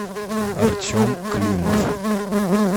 артем климов